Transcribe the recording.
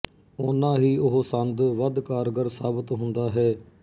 ਓਨਾ ਹੀ ਉਹ ਸੰਦ ਵੱਧ ਕਾਰਗਰ ਸਾਬਤ ਹੁੰਦਾ ਹੈ